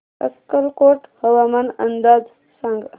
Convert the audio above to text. अक्कलकोट हवामान अंदाज सांग